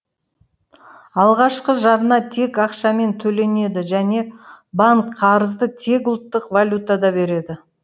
алғашқы жарна тек ақшамен төленеді және банк қарызды тек ұлттық валютада береді